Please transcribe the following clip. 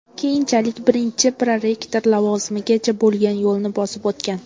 Keyinchalik birinchi prorektor lavozimigacha bo‘lgan yo‘lni bosib o‘tgan.